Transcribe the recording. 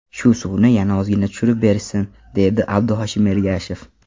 Shu suvni yana ozgina tushirib berishsin”, deydi Abduhoshim Ergashev.